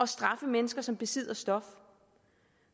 straffe mennesker som besidder et stof